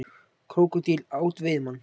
Krókódíll át veiðimann